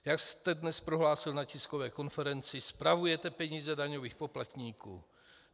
Jak jste dnes prohlásil na tiskové konferenci, spravujete peníze daňových poplatníků.